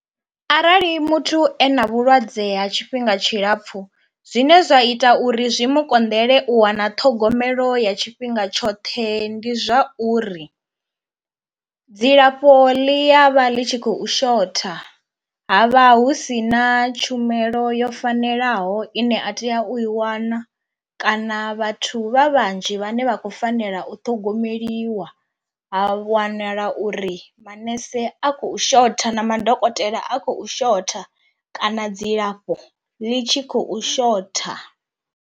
Arali muthu e na vhulwadze ha tshifhinga tshilapfu zwine zwa ita uri zwi mu konḓele u wana ṱhogomelo ya tshifhinga tshoṱhe ndi zwauri, dzilafho ḽi ya vha ḽi tshi khou shotha ha vha hu si na tshumelo yo fanelaho ine a tea u i wana kana vhathu vha vhanzhi vhane vha khou fanela u ṱhogomeliwa, ha wanala uri maṋese a khou shotha na madokotela a khou shotha kana dzilafho ḽi tshi khou shotha.